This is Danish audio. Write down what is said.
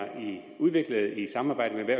udviklet i samarbejde